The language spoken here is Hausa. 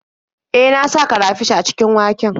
E, na sa karafish a cikin waken.